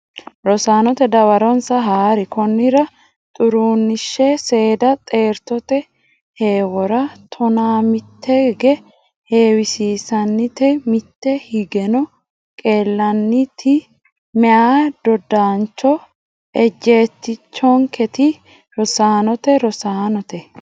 Rosaanote dawaronsa haa ri Konnira Xuruneshi seeda xeertote heewora tonaa mitteegge heewisante mitte higgeno qeelantinokki meyaa dodaancho ejjeetichonkeeti Rosaanote Rosaanote.